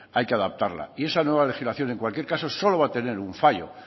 hay que adaptarla y esa nueva legislación en cualquier caso solo va a tener un fallo